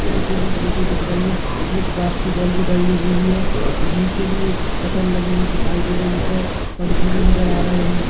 पीछे भी फोटो दिख रही है एक बाप्सी बल्ब भी डली हुई है और नीचे भी एक शटर लगी हुई दिखाई दे रही है ऊपर पंखे भी नजर आ रहे है ।